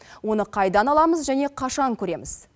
оны қайдан аламыз және қашан көреміз